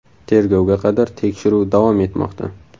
Tergovga qadar tekshiruv davom etmoqda.